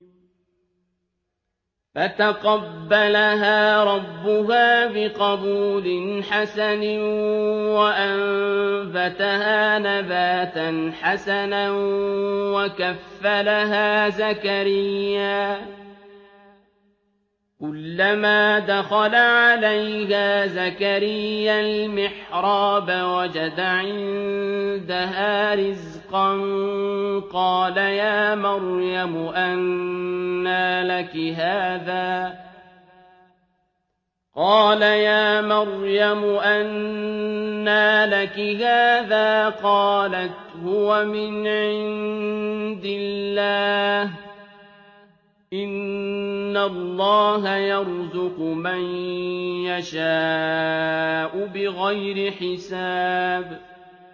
فَتَقَبَّلَهَا رَبُّهَا بِقَبُولٍ حَسَنٍ وَأَنبَتَهَا نَبَاتًا حَسَنًا وَكَفَّلَهَا زَكَرِيَّا ۖ كُلَّمَا دَخَلَ عَلَيْهَا زَكَرِيَّا الْمِحْرَابَ وَجَدَ عِندَهَا رِزْقًا ۖ قَالَ يَا مَرْيَمُ أَنَّىٰ لَكِ هَٰذَا ۖ قَالَتْ هُوَ مِنْ عِندِ اللَّهِ ۖ إِنَّ اللَّهَ يَرْزُقُ مَن يَشَاءُ بِغَيْرِ حِسَابٍ